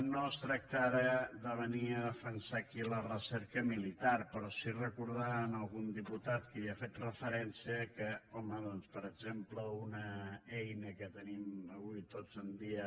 no es tracta ara de venir a defensar aquí la recerca militar però sí recordar algun militar que hi ha fet referència que home doncs per exemple una eina que tenim tots avui en dia